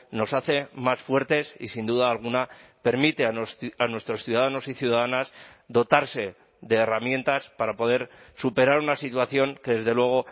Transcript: nos hace más fuertes y sin duda alguna permite a nuestros ciudadanos y ciudadanas dotarse de herramientas para poder superar una situación que desde luego